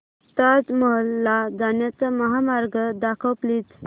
ताज महल ला जाण्याचा महामार्ग दाखव प्लीज